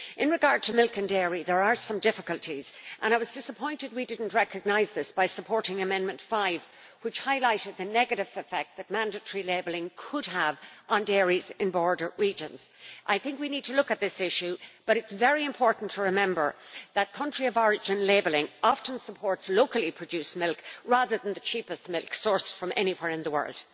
With regard to milk and dairy produce there are some difficulties, and I was disappointed that we did not recognise this by supporting Amendment 5 which highlighted the negative effect mandatory labelling could have on dairies in border regions. We need to look at this issue, but it is very important to remember that country of origin labelling often supports locally produced milk rather than the cheapest milk sourced from anywhere in the world.